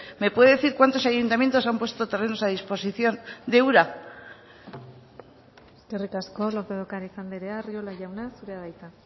me puede decir cuántos ayuntamientos han puesto terrenos a disposición de ura eskerrik asko lópez de ocariz andrea arriola jauna zurea da hitza